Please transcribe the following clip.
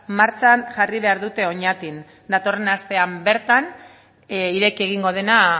martxan jarri behar dute oñatin datorren astean bertan ireki egingo dena